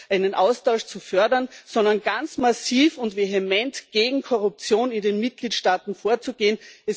einen Austausch zu fördern, sondern ganz massiv und vehement gegen Korruption in den Mitgliedstaaten vorzugehen.